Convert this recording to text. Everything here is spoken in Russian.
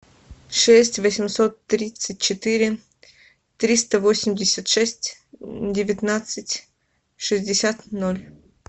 шесть восемьсот тридцать четыре триста восемьдесят шесть девятнадцать шестьдесят ноль